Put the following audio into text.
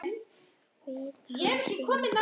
Hvítan hring.